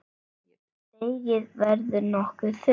Deigið verður nokkuð þunnt.